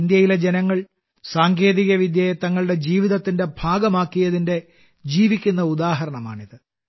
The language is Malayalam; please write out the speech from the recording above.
ഇന്ത്യയിലെ ജനങ്ങൾ സാങ്കേതികവിദ്യയെ തങ്ങളുടെ ജീവിതത്തിന്റെ ഭാഗമാക്കിയതിന്റെ ജീവിക്കുന്ന ഉദാഹരണമാണിത്